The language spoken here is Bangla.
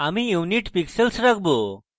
আমি unit pixels রাখবো